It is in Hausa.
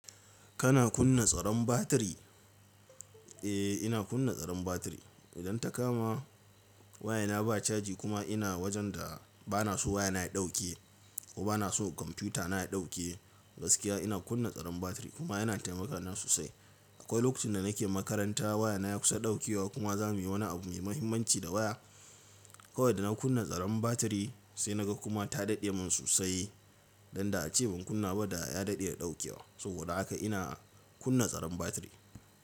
Kana kunna tsaron batiri? Eh ina kunna tsaron batiri. Idan ta kama waya na ba caji kuma ina wajen da bana so waya na ya dauke ko bana so kwamfuta na ya dauke gaskiya ina kunna tsaron batiri kuma yana taimaka na sosai. Akwai lokacin da nake makaranta waya na ya kusa dauke wa kuma za mu yi wani abu mai muhimmanci da waya. Kawai da na kunna tsaron batiri sai na ga kuma ta daɗe min sosai dan da ace ban kunna ba da ya daɗe ya dauke wa. Saboda haka ina kunna tsaron batiri.